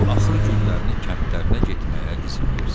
bu axır günlərini kəndlərinə getməyə izin versin.